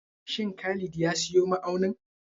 Shin Khalid ya siyo ma'aunin?